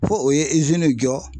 Fo o ye izini jɔ